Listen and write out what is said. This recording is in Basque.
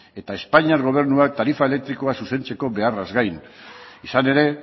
eta espainiar gobernuak tarifa elektrikoa zuzentzeko beharraz gain izan ere